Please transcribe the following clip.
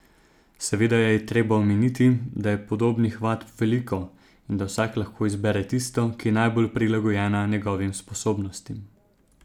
Seveda je treba omeniti, da je podobnih vadb veliko in da vsak lahko izbere tisto, ki je najbolj prilagojena njegovim sposobnostim.